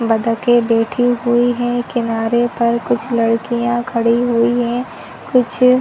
बत्तखे बैठी हुई है किनारे पर कुछ लड़किया खड़ी हुई है कुछ--